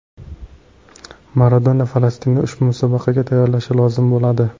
Maradona Falastinni ushbu musobaqaga tayyorlashi lozim bo‘ladi.